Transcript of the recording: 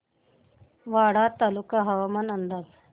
वाडा तालुका हवामान अंदाज